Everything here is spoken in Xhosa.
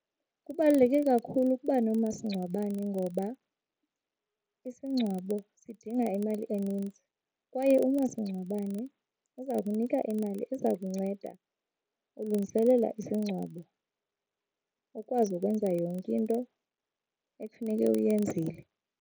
Kubaluleke kakhulu ukuba nomasingcwabane ngoba, isingcwabo sidinga imali eninzi kwaye umasingcwabane uza kunika imali eza kunceda ulungiselela isingcwabo ukwazi ukwenza yonke into ekufuneke uyenzile.